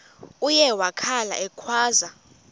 uye wakhala ekhwaza